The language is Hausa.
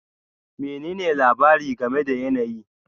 Menene labari game da yanayi?